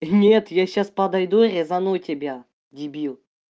нет я сейчас подойду резану тебя дебил